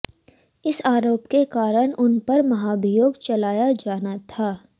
इस आरोप के कारण उन पर महाभियोग चलाया जाना था